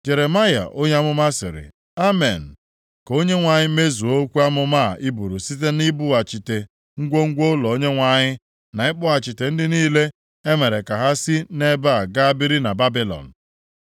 Jeremaya onye amụma sịrị, “Amen! + 28:6 Maọbụ, Ya sikwa otu a dịrị Ka Onyenwe anyị mezuo okwu amụma a i buru site na ibughachite ngwongwo ụlọ Onyenwe anyị na ịkpọghachite ndị niile e mere ka ha si nʼebe a gaa biri na Babilọn.